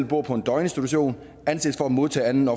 bor på en døgninstitution anses for at modtage anden